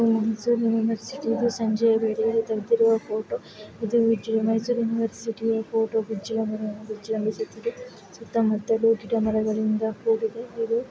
ಇದು ಮೈಸೂರಿನ ಸಿಟಿ ಸಂಜೆವರೆಗೇ ತಗದೆರೆ ಫೋಟೋ ಇದು- ಇದು ಮೈಸೂರಿನ ಯುನಿವರ್ಸಿಟಿ ಸುತ್ತಮುತ್ತಲು ಗಿಡಮರ ಗಳಿಂದ ಕೂಡಿದೆ ।